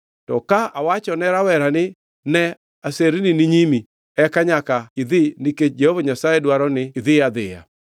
To ka awachone rawera ni, ‘Ne, aserni ni nyimi,’ eka nyaka idhi nikech Jehova Nyasaye dwaro ni idhi adhiya.